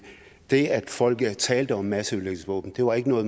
det at folk talte om masseødelæggelsesvåben var ikke noget